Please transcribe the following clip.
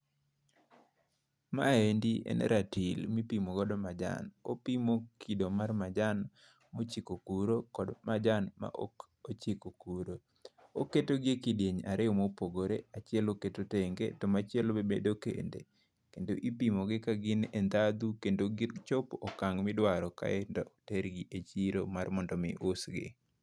Ma endi en ratil mipimo godo majan opimo kido mar majan mochiko kuro kendo majan mok ochiko kuro. Oketo gi e kidieny ariyo mopogore achiel oketo tenge to machielo oketo kende, kendo ipimo gi ka gin e ndhadhu kendo gichopo okang' midwaro kae idok ter gi e chiro mar mondo mi usgi